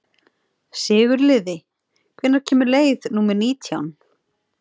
Sigurliði, hvenær kemur leið númer nítján?